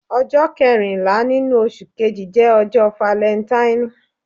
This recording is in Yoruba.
Ọjọ kẹrinla ninu oṣu Kẹji jẹ ọjọ Falentaini.